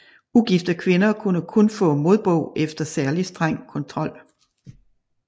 Ugifte kvinder kunne kun få modbog efter særlig streng kontrol